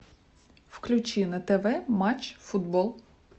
включи на тв матч футбол